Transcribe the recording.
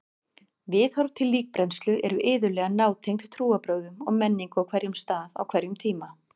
Viðhorf til líkbrennslu eru iðulega nátengd trúarbrögðum og menningu á hverjum stað á hverjum tíma.